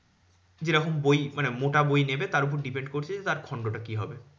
যেরকম বই মানে মোটা বই নেবে তার উপর depend করছে যে তার খন্ড টা কি হবে?